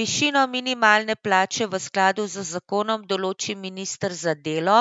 Višino minimalne plače v skladu z zakonom določi minister za delo